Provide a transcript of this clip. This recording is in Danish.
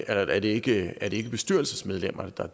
er det ikke ikke bestyrelsesmedlemmerne der